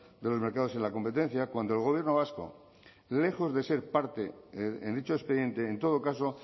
de los mercados y la competencia cuando el gobierno vasco lejos de ser parte en dicho expediente en todo caso